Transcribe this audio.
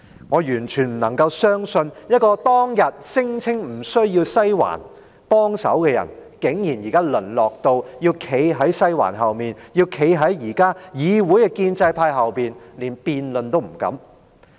我完全不能夠相信，一個當天聲稱不用"西環"幫忙的人，現時竟然淪落到要站在"西環"後面、站在議會的建制派後面，連辯論都不敢。